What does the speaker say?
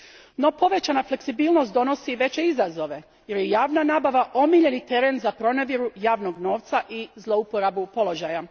No povećana fleksibilnost donosi i veće izazove jer je javna nabava omiljeni teren za pronevjeru javnog novca i zlouporabu položaja.